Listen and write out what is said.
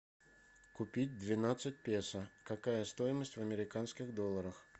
купить двенадцать песо какая стоимость в американских долларах